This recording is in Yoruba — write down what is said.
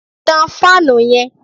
Tán fáànù yẹn!